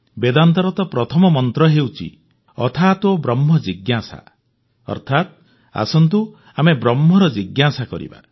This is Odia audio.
ବେଦାନ୍ତର ତ ପ୍ରଥମ ମନ୍ତ୍ର ହେଉଛି ଅଥାତୋ ବ୍ରହ୍ମ ଜିଜ୍ଞାସା ଅର୍ଥାତ ଆସନ୍ତୁ ଆମେ ବ୍ରହ୍ମର ଜିଜ୍ଞାସା କରିବା